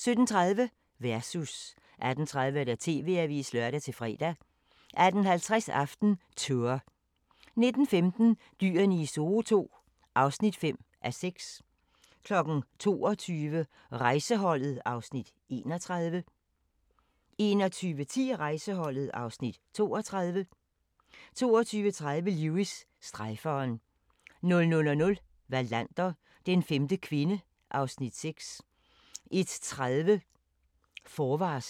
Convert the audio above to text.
17:30: Versus 18:30: TV-avisen (lør-fre) 18:50: AftenTour 19:15: Dyrene i Zoo II (5:6) 20:00: Rejseholdet (Afs. 31) 21:10: Rejseholdet (Afs. 32) 22:30: Lewis: Strejferen 00:00: Wallander: Den femte kvinde (Afs. 6) 01:30: Forvarsel